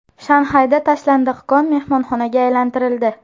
Shanxayda tashlandiq kon mehmonxonaga aylantirildi .